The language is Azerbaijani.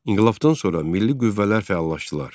İnqilabdan sonra milli qüvvələr fəallaşdılar.